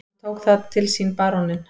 Hann tók það til sínBaróninn